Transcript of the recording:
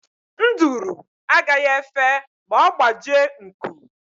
Nduru agaghị efe ma ọ gbajie nku.